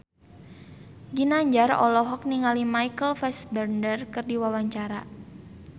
Ginanjar olohok ningali Michael Fassbender keur diwawancara